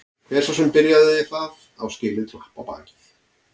Hver sá sem byrjaði það á skilið klapp á bakið.